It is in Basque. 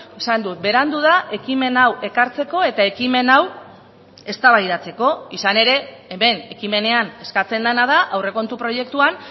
esan dut berandu da ekimen hau ekartzeko eta ekimen hau eztabaidatzeko izan ere hemen ekimenean eskatzen dena da aurrekontu proiektuan